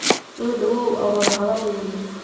Sodhawow aan wadha hadhalne.